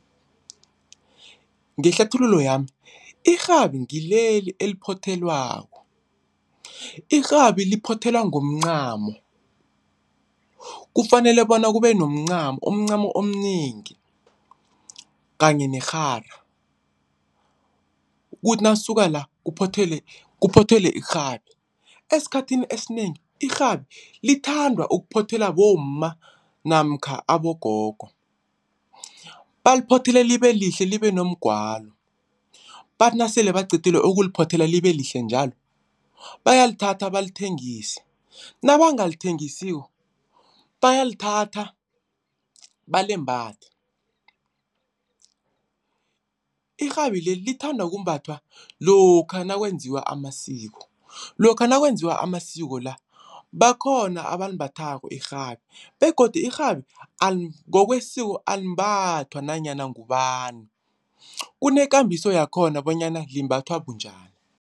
Ngehlathululo yami irhabi ngileli eliphothelwako. Irhabi liphothelwa ngomncamo kufanele bona kube nomncamo umncamo omnengi kanye nerhara. Kuthi nakusuka la kuphothelwe, kuphothelwe irhabi. Esikhathini esinengi irhabi lithandwa ukuphothelwa bomma namkha abogogo, baliphothele libe lihle libe nomgwalo. Bathi nasele baqedile ukuliphothela libe lihle njalo bayalithatha balithengise, nabangalithengisiko bayalithatha balimbathe. Irhabi leli lithanda kumbathwa lokha nakwenziwa amasiko. Lokha nakwenziwa amasiko la bakhona abalimbathako irhabi begodu irhabi ngokwesiko alimbathwa nanyana ngubani. Kunekambiso yakhona bonyana limbathwa bunjani.